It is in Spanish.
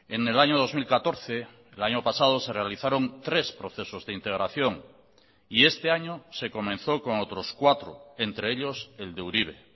en el año dos mil catorce el año pasado se realizaron tres procesos de integración y este año se comenzó con otros cuatro entre ellos el de uribe